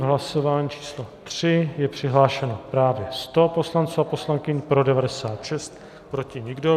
V hlasování číslo 3 je přihlášeno právě 100 poslanců a poslankyň, pro 96, proti nikdo.